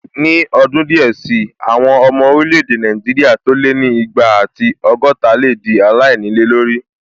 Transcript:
Ní ọdún díẹ̀ sí, àwọn ọmọ orílẹ̀-èdè Nàìjíríà tó lé ní igba ati ọgọ́ta lè dí aláìnílé lórí